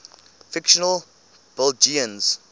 fictional belgians